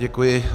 Děkuji.